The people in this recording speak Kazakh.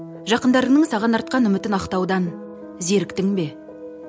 жақындарыңның саған артқан үмітін ақтаудан зеріктің бе